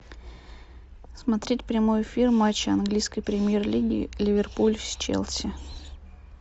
смотреть прямой эфир матча английской премьер лиги ливерпуль с челси